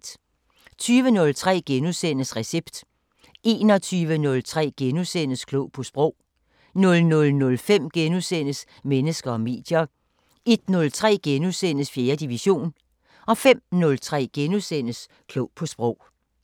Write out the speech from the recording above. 20:03: Recept * 21:03: Klog på Sprog * 00:05: Mennesker og medier * 01:03: 4. division * 05:03: Klog på Sprog *